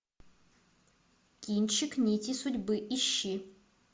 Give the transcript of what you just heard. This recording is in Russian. кинчик нити судьбы ищи